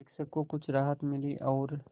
शिक्षक को कुछ राहत मिली और